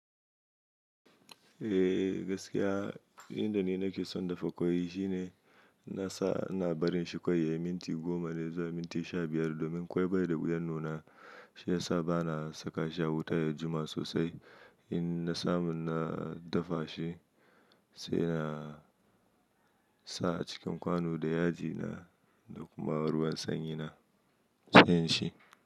Eh gaskiya, inda ni nake son dafa ƙwai shine na sa na barin shi ƙwai yayi minti goma ne zuwa minti sha biyar domin ƙwai bai da guda nuna. Shi ya sa ba na saka shi a wuta ya jima sosai. In na samu na dafa shi sai na sa a cikin kwano da yaji na da kuma ruwan sanyi na siyan shi.